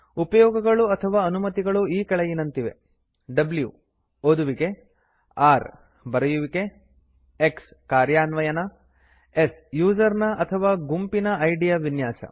ಉಪಯೋಗಗಳು ಅಥವಾ ಅನುಮತಿಗಳು ಈ ಕೆಳಗಿನಂತಿವೆ w ಓದುವಿಕೆ r ಬರೆಯುವಿಕೆ x ಕಾರ್ಯಾನ್ವಯನ s ಯೂಸರ್ ನ ಅಥವಾ ಗುಂಪಿನ ಐಡಿ ಯ ವಿನ್ಯಾಸ